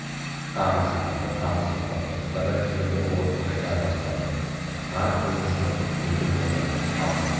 тағы сипады тағы сипады ұстара жүзі бір орнын қайта баспады марат көзін жұмып мүлгіп отыр қалғып